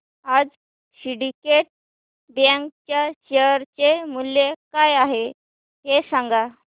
आज Syndicate Bank च्या share चे मूल्य काय आहे हे सांगा